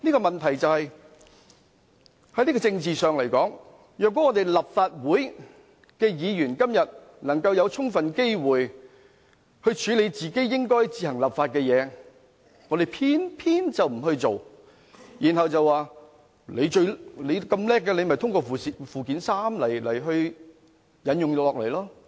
問題是，在政治上來說，立法會議員今天有充分機會處理應該自行作本地立法的事項，但偏偏不去做，卻表示既然內地當局有如此能耐，便讓它們通過附件三把條文引用到香港吧。